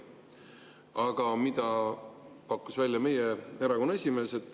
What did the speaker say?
Aga mida pakkus välja meie erakonna esimees?